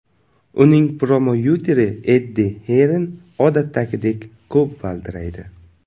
Uning promouteri Eddi Hirn odatdagidek ko‘p valdiraydi.